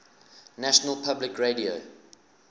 national public radio